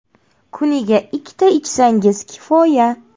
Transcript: Kuniga ikkita ichsangiz kifoya.